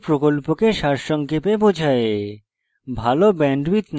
এটি প্রকল্পকে সারসংক্ষেপে বোঝায়